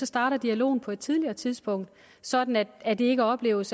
starte dialogen på et tidligere tidspunkt sådan at det ikke opleves